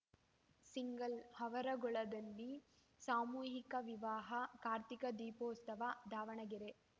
single ಆವರಗೊಳ್ಳದಲ್ಲಿ ಸಾಮೂಹಿಕ ವಿವಾಹ ಕಾರ್ತೀಕ ದೀಪೋತ್ಸವ ದಾವಣಗೆರೆ